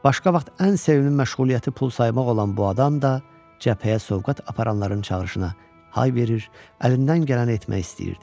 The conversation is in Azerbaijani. Başqa vaxt ən sevimli məşğuliyyəti pul saymaq olan bu adam da cəbhəyə sovqat aparanların çağırışına hay verir, əlindən gələni etmək istəyirdi.